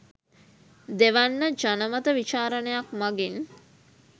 දෙවැන්න ජනමත විචාරණයක් මගින්